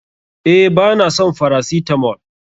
Eh ba na son farasitamol.